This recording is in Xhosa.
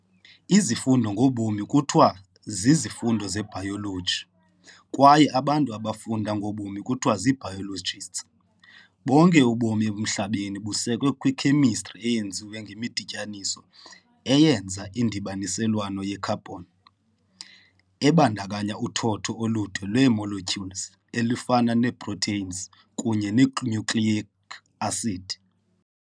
Izifundo ngobomi kuthiwa zizifundo ze-bayoloji kwaye abantu abafunda ngobomi kuthiwa zii-biologists. Bonke ubomi emhlabeni busekwe kwi-Khemistri eyenziwe ngemidityaniso eyenza indibaniselwano ye-carbon, ebandakanya uthotho olude lwee-molecules olufana nee- proteins kunye nee-nucleic acid.